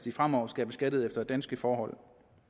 fremover skal beskattes efter danske forhold